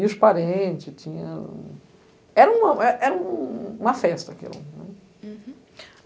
E os parentes tinham... Era um, era um uma festa, aquilo, né. Uhum